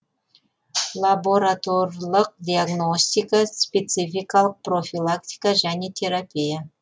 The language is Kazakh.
лабораторлық диагностика спецификалық профилактика және терапия